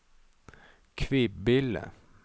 Kvibille